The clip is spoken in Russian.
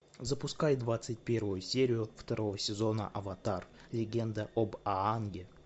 запускай двадцать первую серию второго сезона аватар легенда об аанге